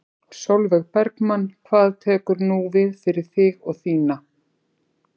Sólveig Bergmann: Hvað tekur nú við fyrir þig og þína?